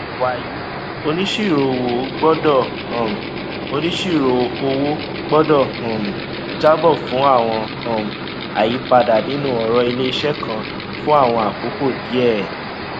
wàyí onisiroowo gbọdọ um onisiroowo gbọdọ um jábọ fún àwọn um àyípadà nínú ọrọ ilé iṣẹ kan fún àwọn àkókò díẹ